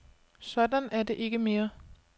Sådan er det ikke mere.